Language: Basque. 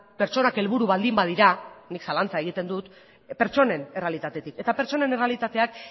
pertsonak helburu baldin badira nik zalantza egiten dut pertsonen errealitatetik eta pertsonen errealitateak